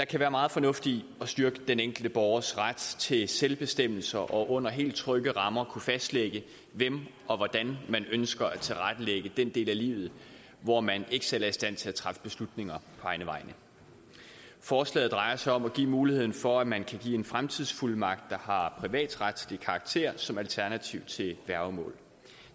kan være meget fornuftigt at styrke den enkelte borgers ret til selvbestemmelse og under helt trygge rammer at kunne fastlægge hvordan man ønsker at tilrettelægge den del af livet hvor man ikke selv er i stand til at træffe beslutninger på egne vegne forslaget drejer sig om at give muligheden for at man kan give en fremtidsfuldmagt der har privatretslig karakter som alternativ til værgemål